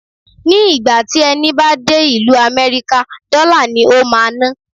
Ni ìgbà tí ẹni bá ti dé ìlú Amẹ́ríkà, dọ́là ni o máa ná.